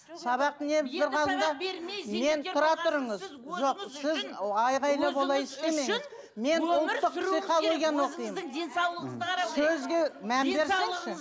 сабақ не тұрғанда мен тұра тұрыңыз жоқ сіз айқайлап олай істемеңіз мен ұлттық психологияны оқимын